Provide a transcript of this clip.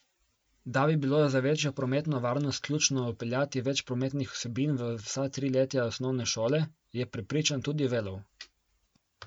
Da bi bilo za večjo prometno varnost ključno vpeljati več prometnih vsebin v vsa triletja osnovne šole, je prepričan tudi Velov.